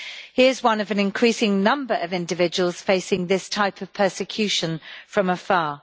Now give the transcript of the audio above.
He is one of an increasing number of individuals facing this type of persecution from afar.